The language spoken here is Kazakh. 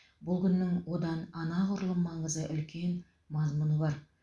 бұл күннің одан анағұрлым маңызы үлкен мазмұны бар